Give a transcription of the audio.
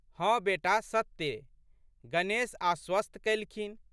हँ बेटा सत्ते। "गणेश आश्वस्त कैलखिन।